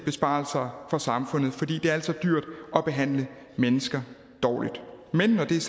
besparelser for samfundet for det er altså dyrt at behandle mennesker dårligt men når det er